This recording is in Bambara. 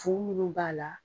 Fu munnu b'a la